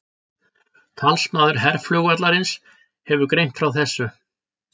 Talsmaður herflugvallarins hefur greint frá þessu